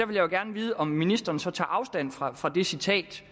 vil jeg gerne vide om ministeren så tager afstand fra fra det citat